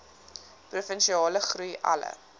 provinsiale groei alle